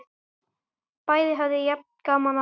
Bæði höfðu jafn gaman af!